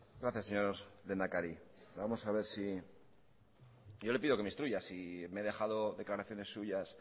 gracias señor lehendakari vamos a ver si yo le pido que me instruya si me he dejado declaraciones suyas